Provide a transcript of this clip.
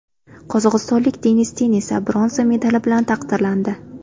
Qozog‘istonlik Denis Ten esa bronza medali bilan taqdirlandi.